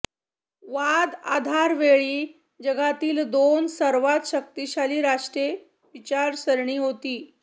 वाद आधार वेळी जगातील दोन सर्वात शक्तिशाली राष्ट्रे विचारसरणी होती